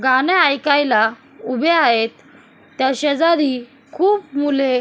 गाणे ऐकायला उभे आहेत त्या शेजारी खूप मुले.